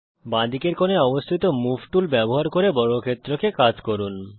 বাঁদিকের কোণায় অবস্থিত মুভ টুল ব্যবহার করে বর্গক্ষেত্রকে কাত করুন